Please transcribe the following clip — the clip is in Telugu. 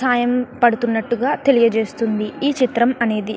పడుతున్నట్టుగా తెలియజేస్తుంది ఈ చిత్రం అనేది --